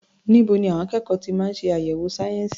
Níbo ni àwọn akẹ́kọ̀ọ́ ti máa ń ṣe àyẹ̀wò sayensi?